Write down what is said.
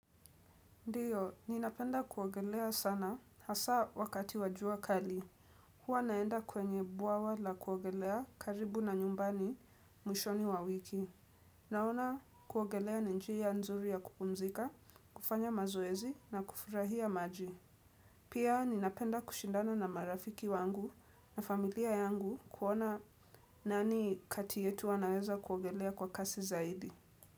Ndiyo, ninapenda kuogelea sana hasa wakati wa jua kali. Hua naenda kwenye buawa la kuogelea karibu na nyumbani mwishoni wa wiki. Naona kuogelea ni njia nzuri ya kupumzika, kufanya mazoezi na kufurahia maji. Pia ninapenda kushindana na marafiki wangu na familia yangu kuona nani kati yetu wanaweza kuogelea kwa kasi zaidi.